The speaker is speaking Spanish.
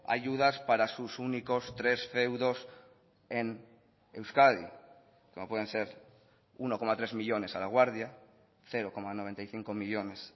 ayudas para sus únicos tres feudos en euskadi como pueden ser uno coma tres millónes a laguardia cero coma noventa y cinco millónes